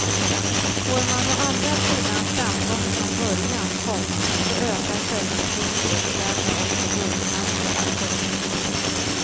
Får man å andra sidan framgång från början, komma så ökar självförtroendet och därmed också guldchanserna. punkt